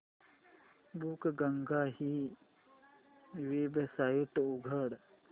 बुकगंगा ही वेबसाइट उघड